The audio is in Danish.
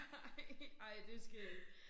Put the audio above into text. Ej ej det skægt